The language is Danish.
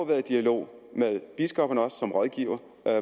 været i dialog med biskopperne biskop som rådgiver